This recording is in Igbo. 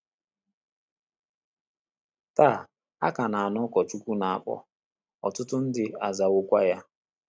Taa, a ka na - anụ òkù Nwachukwu na - akpọ, ọtụtụ ndị azawokwa ya.